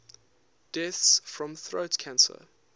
deaths from throat cancer